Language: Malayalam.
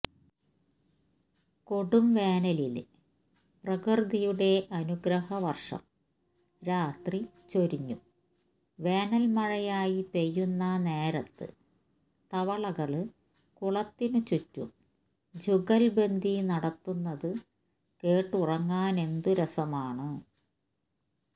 കൊടുംവേനലില് പ്രകൃതിയുടെ അനുഗ്രഹവര്ഷം രാത്രി ചൊരിഞ്ഞു വേനല്മഴയായ് പെയ്യുന്ന നേരത്ത് തവളകള് കുളത്തിനുചുറ്റും ജുഗല്ബന്ദി നടത്തുന്നതു കേട്ടുറങ്ങാനെന്തു രസമാണ്